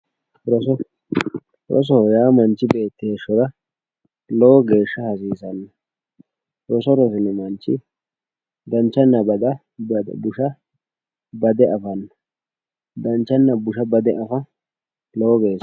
roso rosoho yaa manchi beetti heeshshora lowo geeshsha hasiisanno roso rosino manchi danchanna busha bade afanno danchanna busha bade afa lowo geeshsha ...